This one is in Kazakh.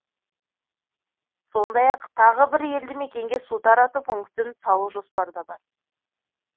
сондай ақ тағы бір елді мекенге су тарату пунктін салу жоспарда бар